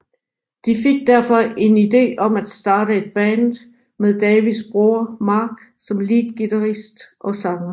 De fik derfor en ide om at starte et Band med Davids bror Mark som leadguitarist og sanger